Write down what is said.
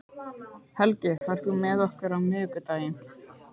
Helgi, ferð þú með okkur á miðvikudaginn?